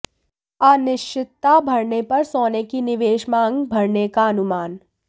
अनिश्चितता बढ़ने पर सोने की निवेश मांग बढ़ने का अनुमान